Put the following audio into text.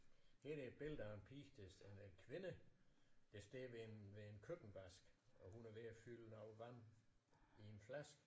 Her er der et billede af en pige der eller en kvinde der står ved en ved en køkkenvask og hun er ved at fylde noget vand i en flaske